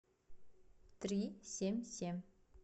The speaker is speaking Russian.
три семь семь